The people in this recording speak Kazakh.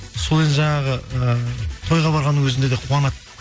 сол енді жаңағы ы тойға барғанның өзінде де қуанады